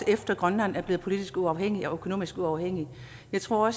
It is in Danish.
efter at grønland er blevet politisk uafhængigt og økonomisk uafhængigt jeg tror